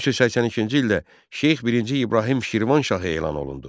1382-ci ildə Şeyx birinci İbrahim Şirvanşahı elan olundu.